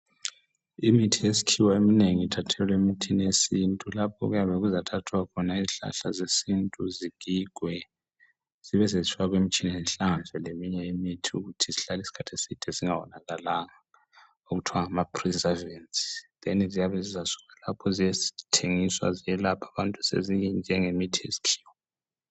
Imithi yesikhiwa eminengi ithathelwa emithini yesintu. Lapho okuyabe kuzathathwa khona izihlahla zesintu zigigwe zibe sezifakwa emitshineni zihlanganiswe leminye imithi ukuthi zihlale isikhathi eside zingawonakalanga okuthiwa ngama preservants ziyabe zizasuka lapha ziyethengiswa zelaphe njengemithi yesikhiwa.